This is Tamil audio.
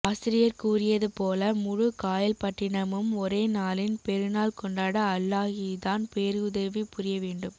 ஆசிரியர் கூறியது போல முழு காயல்பட்டினமும் ஒரே நாளின் பெருநாள் கொண்டாட அல்லாஹுதான் பேருதவிபுரிய வேண்டும்